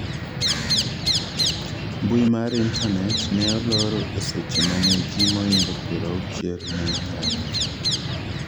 mbui mar intanet ne olor eseche mane ji moingo piero auchiel ne ng'anyo